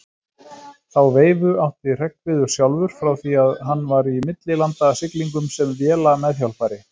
Þá veifu átti Hreggviður sjálfur frá því hann var í millilandasiglingum sem vélameðhjálpari.